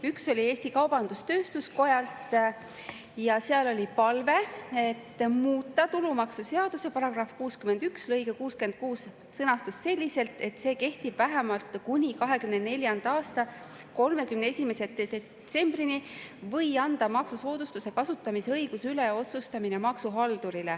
Üks oli Eesti Kaubandus-Tööstuskojalt ja seal oli palve muuta tulumaksuseaduse § 61 lõige 66 sõnastust selliselt, et see kehtiks vähemalt kuni 2024. aasta 31. detsembrini, või anda maksusoodustuse kasutamise õiguse üle otsustamine maksuhaldurile.